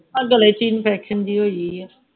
ਆਹ ਗਲੇ ਚ infection ਜਿਹੀ ਹੋਈ ਆ